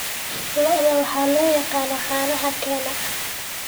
Lo'da waxa loo yaqaan "caanaha keena."